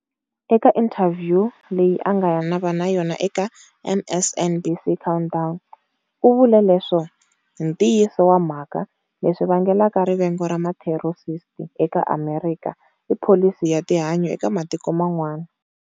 Eka inthavhyu leyi a nga va na yona eka MSNBC"Countdown", u vule leswo-"Hi ntiyiso wa mhaka, leswi vangelaka rivengo ra matheroristi eka Amerika, i pholisi ya tihanyi eka matiko man'wana.